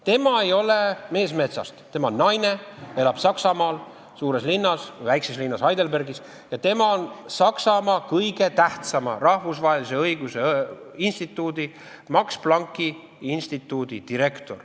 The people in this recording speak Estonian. Tema ei ole mees metsast, tema on naine, elab Saksamaal suures või väikses linnas Heidelbergis ja tema on Saksamaa kõige tähtsama rahvusvahelise õiguse instituudi, Max Plancki instituudi direktor.